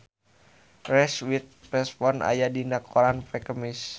Reese Witherspoon aya dina koran poe Kemis